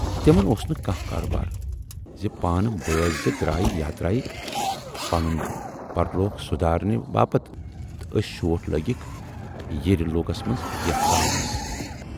تِمن اوس نہٕ کانہہ کارٕبارا زِ پانہٕ بٲژ زٕ درایہِ یاترایہِ پنُن پرِلوٗکھ سُدارنہٕ باپتھ تہٕ ٲسۍ شوٹھ لٲگِکھ ییرِلوٗکس مَنز یتَھ تاونَس۔